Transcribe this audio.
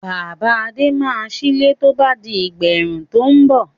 Bàbá Adé máa sílé tó bá di ìgbà ẹ̀rùn tó ń bọ̀.